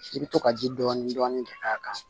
I bɛ to ka ji dɔɔni dɔɔni k'a kan